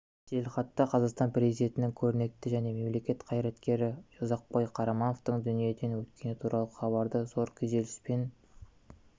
жеделхатта қазақстан президентінің көрнекті мемлекет және қоғам қайраткері ұзақбай қарамановтың дүниеден өткені туралы хабарды зор күйзеліспен